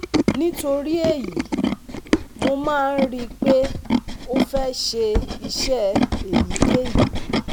Nítorí èyí, mo máa ń rí i pé ó fẹ́ ṣe iṣẹ́ èyíkéyìí